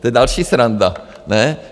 To je další sranda, ne?